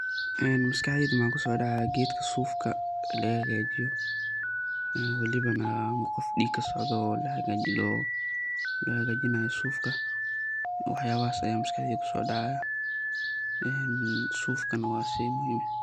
Maskaxdeyda maxa kuso dacaayo geedka sufka laga haga jiyo, walibana qof dig kasocdo la hag lo hagajinayo sufka waax yabahas aya maskaxdeyda kuso dacaya en sufka naa shey muhiim eh.